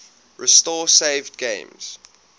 restore saved games